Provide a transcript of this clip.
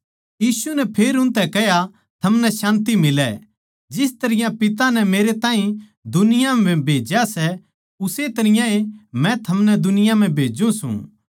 यीशु नै फेर उनतै कह्या थमनै शान्ति मिलै जिस तरियां पिता नै मेरैताहीं दुनिया म्ह भेज्या सै उस्से तरियां ए मै थमनै दुनिया म्ह भेज्जू सूं